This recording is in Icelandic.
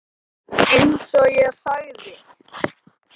Eins og ég sagði.